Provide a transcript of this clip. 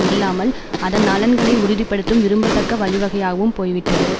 இல்லாமல் அதன் நலன்களை உறுதி படுத்தும் விரும்பத்தக்க வழிவகையாகவும் போய்விட்டது